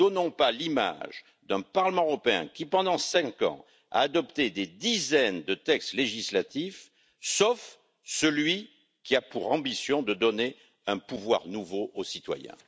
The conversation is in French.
Ne nous donnons pas l'image d'un Parlement européen qui, pendant cinq ans, a adopté des dizaines de textes législatifs, sauf celui qui a pour ambition de donner un pouvoir nouveau aux citoyens!